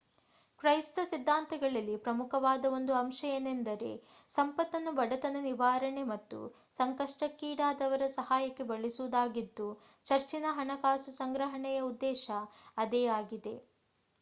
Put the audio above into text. ಕ್ರೈಸ್ತ ಸಿದ್ಧಾಂತಗಳಲ್ಲಿ ಪ್ರಮುಖವಾದ ಒಂದು ಅಂಶ ಏನೆಂದರೆ ಸಂಪತ್ತನ್ನು ಬಡತನ ನಿವಾರಣೆ ಮತ್ತು ಸಂಕಷ್ಟಕ್ಕೀ ಡಾದವರ ಸಹಾಯಕ್ಕೆ ಬಳಸುವುದಾಗಿದ್ದು ಚರ್ಚಿನ ಹಣಕಾಸು ಸಂಗ್ರಹಣೆಯ ಉದ್ದೇಶ ಅದೇ ಆಗಿದೆ